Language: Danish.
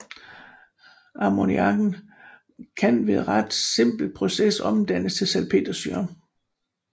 Ammoniakken kan ved ret simple processer omdannes til salpetersyre